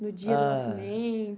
No dia do nascimento? Ah